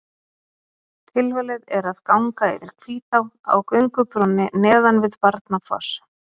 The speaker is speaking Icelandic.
Tilvalið er að ganga yfir Hvítá á göngubrúnni neðan við Barnafoss.